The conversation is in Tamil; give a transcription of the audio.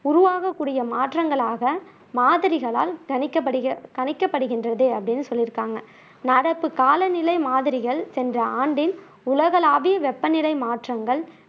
உருவாகக் கூடிய மாற்றங்களாக மாதிரிகளால் கணிக்கப்படுகிற கணிக்கப்படுகின்றது அப்படின்னு சொல்லியிருக்காங்க நடப்பு காலநிலை மாதிரிகள் சென்ற ஆண்டின் உலகளாவிய வெப்பநிலை மாற்றங்கள்